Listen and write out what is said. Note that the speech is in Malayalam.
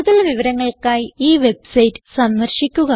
കൂടുതൽ വിവരങ്ങൾക്കായി ഈ വെബ്സൈറ്റ് സന്ദർശിക്കുക